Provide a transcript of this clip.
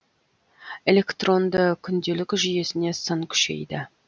электронды күнделік жүйесіне сын күшейді